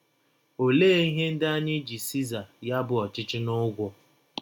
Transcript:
Ọlee “ ihe ” ndị anyị ji Siza, ya bụ, ọchịchị, n’ụgwọ?